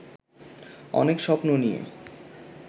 অনেক স্বপ্ন নিয়ে